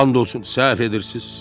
And olsun, səhv edirsiz.